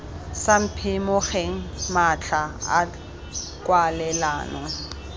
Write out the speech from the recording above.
sa phimogeng matlha a kwalelano